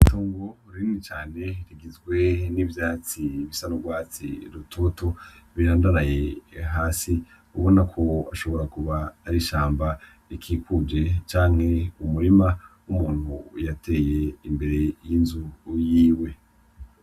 Itongo rinini cane rigizwe n'ivyatsi bisa n'urwatsi rutoto birandaraye hasi ubona ko ashobora ari ishamba rikikuje canke umurima w'umuntu yateye imbere y'inzu yiwe.